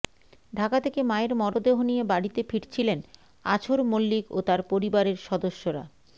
ঢাকা থেকে মায়ের মরদেহ নিয়ে বাড়িতে ফিরছিলেন আছর মল্লিক ও তার পরিবারের সদস্যরা